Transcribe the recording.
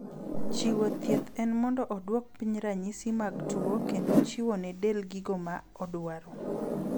Chiwo thieth en mondo oduok piny ranyisi mag tuo kendo chiwo ne del gigo ma odwaro.